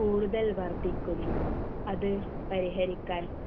കൂടുതൽ വർദ്ധിക്കുന്നു അത് പരിഹരിക്കാൻ